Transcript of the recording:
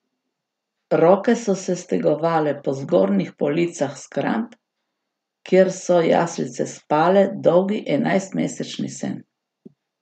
Roke so se stegovale po zgornjih policah shramb, kjer so jaslice spale dolgi enajstmesečni sen.